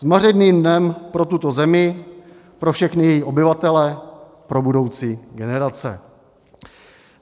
Zmařeným dnem pro tuto zemi, pro všechny její obyvatele, pro budoucí generace.